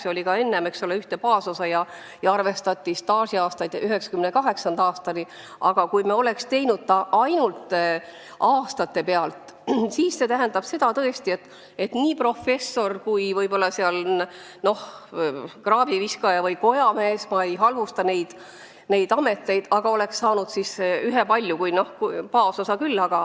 Ühtset baasosa ja staažiaastaid arvestati 1998. aastani, aga kui me oleks rajanud süsteemi ainult tööaastatele, siis see tähendanuks tõesti, et professor ja kraaviviskaja või kojamees – ma muidugi ei halvusta neid ameteid – oleks saanud ühepalju pensionit.